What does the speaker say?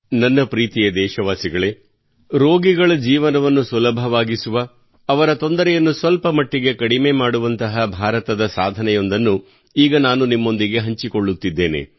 ನನ್ನ ಪ್ರೀತಿಯ ದೇಶವಾಸಿಗಳೇ ರೋಗಿಗಳ ಜೀವನವನ್ನು ಸುಲಭವಾಗಿಸುವ ಅವರ ತೊಂದರೆಯನ್ನು ಸ್ವಲ್ಪ ಮಟ್ಟಿಗೆ ಕಡಿಮೆ ಮಾಡುವಂತಹ ಭಾರತದ ಸಾಧನೆಯೊಂದನ್ನು ಈಗ ನಾನು ನಿಮ್ಮೊಂದಿಗೆ ಹಂಚಿಕೊಳ್ಳುತ್ತಿದ್ದೇನೆ